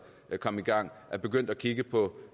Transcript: kom i gang er begyndt at kigge på